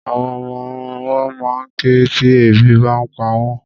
Àwọn ọmọwọ́ ma ń ké tí ebi bá ń pa wọ́n.